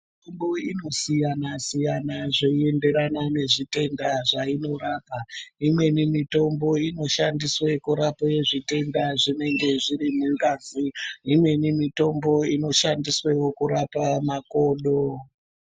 Mitombo inoasiyana-siyana zveienderana nezvitenda zvainorapa. Imweni mitombo inoshandiswe kurape zvitenda zvinenge zviri mungazi. Imweni mitombo inoshandiswewo kurapa makodo.